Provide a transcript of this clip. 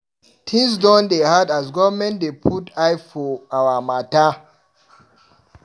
Tins don dey hard as government dey put eye for our mata.